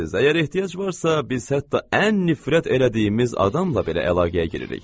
əgər ehtiyac varsa, biz hətta ən nifrət elədiyimiz adamla belə əlaqəyə giririk.